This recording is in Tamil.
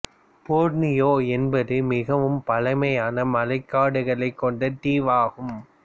போர்னியோ என்பது மிகவும் பழமையான மழைக்காடுகளைக் கொண்ட தீவு ஆகும்